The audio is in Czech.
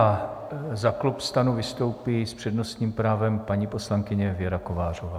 A za klub STAN vystoupí s přednostním právem paní poslankyně Věra Kovářová.